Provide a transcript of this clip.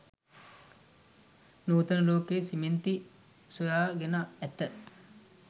නූතන ලෝකය සිමෙන්ති සොයා ගෙන ඇත.